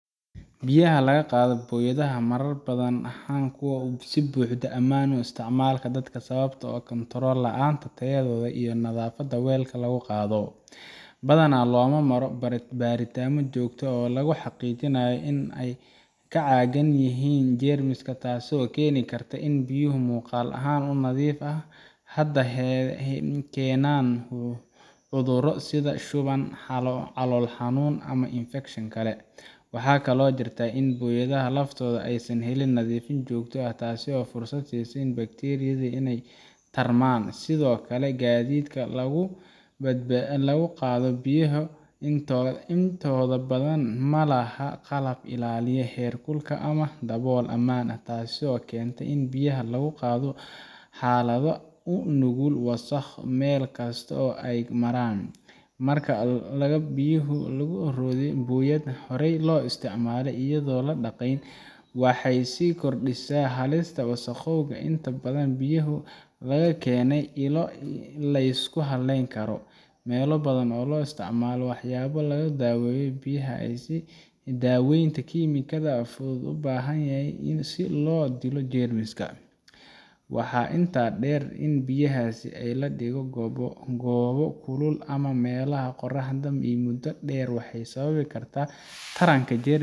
Biyaha laga qaado boyadaha marar badan ma ahan kuwo si buuxda ammaan u ah isticmaalka dadka sababtoo ah kontarool la’aanta tayadooda iyo nadaafadda weelka lagu qaado. Badanaa looma maro baaritaanno joogto ah oo lagu xaqiijinayo in ay ka caagan yihiin jeermis, taasoo keeni karta in biyo muuqaal ahaan u nadiif ah ay haddana keenaan cudurro sida shuban, calool xanuun ama infakshan kale. Waxaa kaloo jirta in boyadaha laftooda aysan helin nadiifin joogto ah, taasoo fursad siisa bakteeriyada inay ku tarmaan. Sidoo kale, gaadiidka lagu qaado biyahaas intooda badan ma laha qalab ilaalinaya heerkulka ama dabool ammaan ah, taasoo keenta in biyaha lagu qaado xaalado u nugul wasakho meel kasta oo ay maraan. Marka biyaha lagu rido boyad horey loo isticmaalay, iyadoo aan la dhaqayn, waxay sii kordhinaysaa halista wasakhowga xitaa haddii biyaha laga keenay ilo la isku halleyn karo. Meelo badan looma isticmaalo waxyaabo lagu daweeyo biyaha sida daaweynta kiimikada fudud oo loo baahan yahay si loo dilo jeermiska. Waxaa intaa dheer, in biyahaasi la dhigo goobo kulul ama meelaha qorraxda ah muddo dheer waxay sababi kartaa taranka jeermis